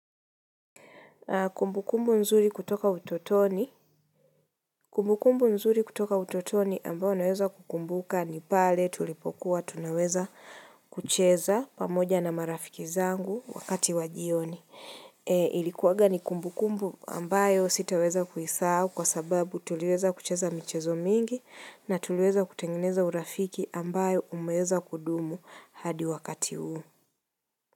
Kumbu kumbu nzuri kutoka utotoni. Kumbu kumbu nzuri kutoka utotoni ambayo naweza kukumbuka ni pale tulipokuwa tunaweza kucheza pamoja na marafiki zangu wakati wajioni. Ilikuwanga ni kumbu kumbu ambayo sitaweza kuhisahau kwa sababu tuliweza kucheza michezo mingi na tuliweza kutengeneza urafiki ambayo umeweza kudumu hadi wakati huu.